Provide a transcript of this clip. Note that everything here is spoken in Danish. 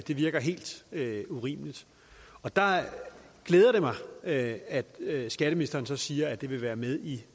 det virker helt urimeligt og der glæder det mig at at skatteministeren siger at det vil være med i